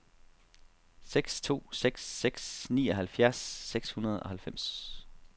seks to seks seks nioghalvfjerds seks hundrede og halvfems